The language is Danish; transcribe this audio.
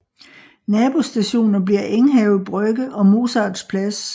Nabostationer bliver Enghave Brygge og Mozarts Plads